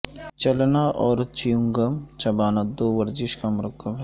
چلنا اور چیونگم چبانا دو ورزش کا مرکب ہے